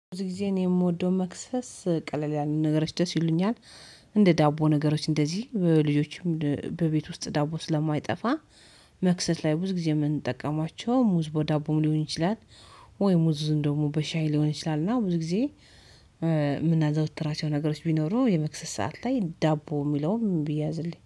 ብዙ ጊዜ እኔ የምወደው መክሰስ ቀለል ያለን ነገሮች ደስ ይሉኛል። እንደ ዳቦ ነገሮች እንደዚህ ልጆችም በቤት ውስጥ ዳቦ ስለማይጠፋ መክሰት ላይ ብዙ ጊዜ የምንጠቀማቸው ሙዝ በዳቦም ሊሆን ይችላል። ወይ ሙዙን ደግሞ በሻይ ሊሆን ይችላል። እና ብዙ ጊዜ የምናዘወትራቸው ነገሮች ቢኖሩ የመክሰስ ሰዓት ላይ ዳቦ የሚለውን ቢያዝልኝ